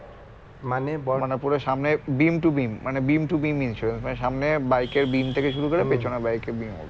মানে পুরো সামনে beam to beam মানে beam to beam insurance মানে সামনে bike এর beam থেকে শুরু করে পেছনে bike এর beam অবধি